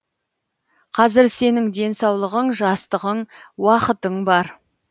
қазір сенің денсаулығың жастығың уақытың бар